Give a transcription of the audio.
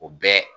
O bɛɛ